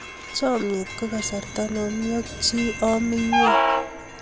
chamiet ko kasarta ne omi ak chi omi nyweng'